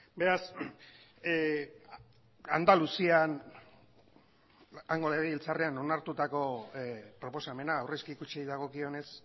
beraz andaluzian hango legebiltzarrean onartutako proposamena aurrezki kutxei dagokionez